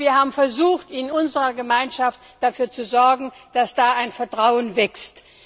Wir haben versucht, in unserer Gemeinschaft dafür zu sorgen, dass da ein Vertrauen wächst.